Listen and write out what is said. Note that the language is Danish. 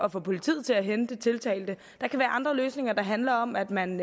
at få politiet til at hente tiltalte der kan være andre løsninger der handler om at man